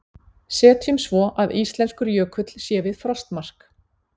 Setjum svo að íslenskur jökull sé við frostmark.